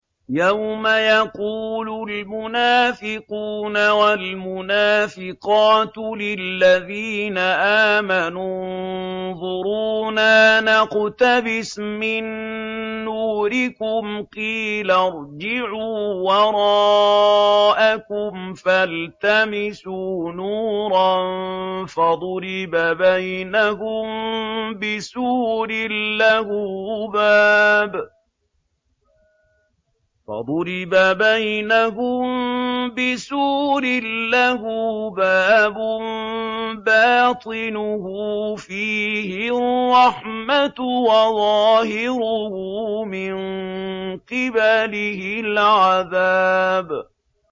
يَوْمَ يَقُولُ الْمُنَافِقُونَ وَالْمُنَافِقَاتُ لِلَّذِينَ آمَنُوا انظُرُونَا نَقْتَبِسْ مِن نُّورِكُمْ قِيلَ ارْجِعُوا وَرَاءَكُمْ فَالْتَمِسُوا نُورًا فَضُرِبَ بَيْنَهُم بِسُورٍ لَّهُ بَابٌ بَاطِنُهُ فِيهِ الرَّحْمَةُ وَظَاهِرُهُ مِن قِبَلِهِ الْعَذَابُ